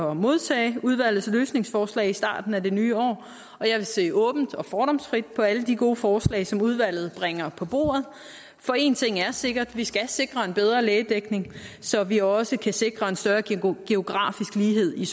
at modtage udvalgets løsningsforslag i starten af det nye år og jeg vil se åbent og fordomsfrit på alle de gode forslag som udvalget bringer på bordet for én ting er sikker vi skal sikre en bedre lægedækning så vi også kan sikre en større geografisk lighed i